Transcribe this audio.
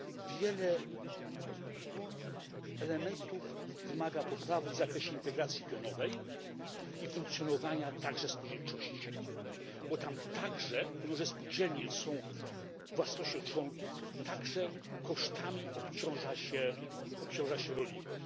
Wiele elementów wymaga poprawy w zakresie integracji pionowej i funkcjonowania także spółdzielczości, bo tam także różne spółdzielnie są własnością członków, kosztami obciąża się rolników.